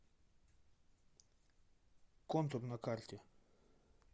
контур на карте